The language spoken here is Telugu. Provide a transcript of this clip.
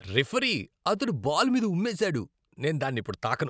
రిఫరీ, అతడు బాల్ మీద ఉమ్మేశాడు.నేను దాన్నిప్పుడు తాకను.